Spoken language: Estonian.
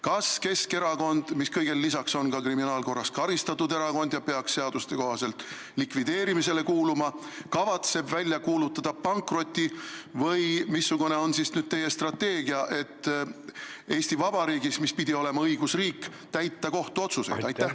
Kas Keskerakond, mis kõigele lisaks on ka kriminaalkorras karistatud erakond ja peaks seaduste kohaselt likvideerimisele kuuluma, kavatseb välja kuulutada pankroti või missugune on nüüd teie strateegia, et Eesti Vabariigis, mis pidi olema õigusriik, täita kohtuotsuseid?